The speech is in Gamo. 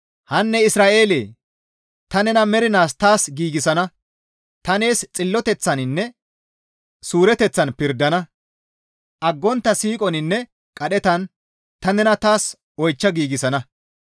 Hanne Isra7eele! Ta nena mernaas taas giigsana; Ta nees xilloteththaninne suureteththan pirdana; aggontta siiqoninne qadhetan ta nena taas oychcha giigsana.